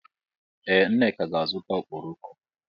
Ee Nneka ga-azụta ọkpọrọko.